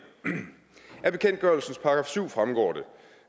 af bekendtgørelsens § syv fremgår det